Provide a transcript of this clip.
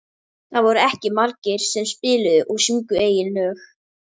Jónsi, manstu hvað verslunin hét sem við fórum í á laugardaginn?